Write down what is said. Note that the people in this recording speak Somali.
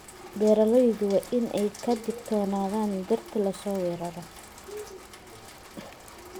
Beeraleydu waa inay ka digtoonaadaan dhirta la soo weeraro.